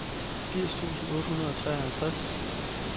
firs tusind otte hundrede og treoghalvtreds